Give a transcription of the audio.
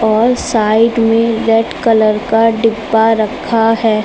और साइड में red colour का डिब्बा रखा है।